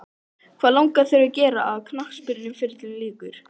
Hvað langar þig að gera þegar að knattspyrnuferlinum líkur?